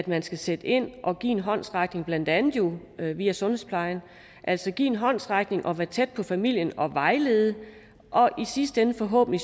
man skal sætte ind og give en håndsrækning jo blandt andet via sundhedsplejen altså give en håndsrækning og være tæt på familien og vejlede og i sidste ende forhåbentlig